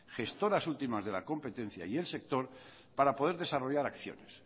gestoras últimas de la competencia y el sector para poder desarrollar acciones